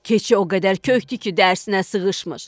Keçi o qədər kökdü ki, dərsinə sığışmır.